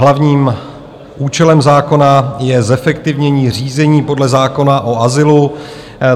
Hlavním účelem zákona je zefektivnění řízení podle zákona o azylu.